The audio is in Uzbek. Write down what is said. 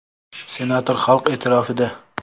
Senator xalq e’tirofida!.